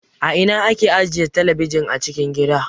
A ina ake ajiye talabijin a cikin gida?